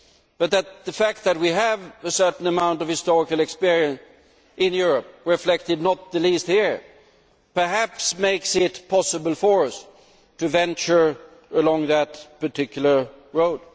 But the fact that we have a certain amount of historical experience in Europe reflected not the least here perhaps makes it possible for us to venture along that particular road.